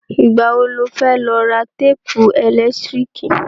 Ìgbà wo lo fẹ́ lọ ra téèpù ẹ̀lẹ́tíríkì?